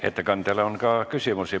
Ettekandjale on ka küsimusi.